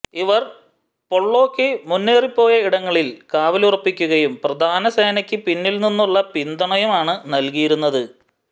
ഇവർ പൊള്ളോക്ക് മുന്നേറിപ്പോയ ഇടങ്ങളിൽ കാവലുറപ്പിക്കലും പ്രധാനസേനക്ക് പിന്നിൽനിന്നുള്ള പിന്തുണയുമാണ് നൽകിയിരുന്നത്